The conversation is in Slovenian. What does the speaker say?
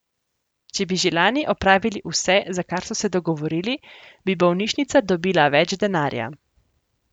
Če bi že lani opravili vse, za kar so se dogovorili, bi bolnišnica dobila več denarja.